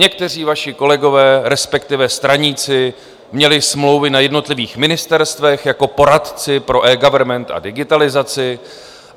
Někteří vaši kolegové, respektive straníci, měli smlouvy na jednotlivých ministerstvech jako poradci pro eGovernment a digitalizaci.